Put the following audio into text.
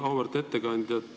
Auväärt ettekandja!